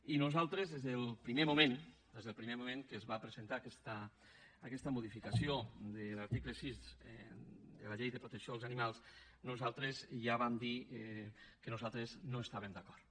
i nosaltres des del primer moment des del primer moment en què es va presentar aquesta modificació de l’article sis eh de la llei de protecció dels animals ja vam dir que nosaltres no hi estàvem d’acord